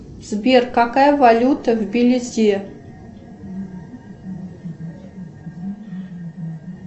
сбер какая валюта в белизе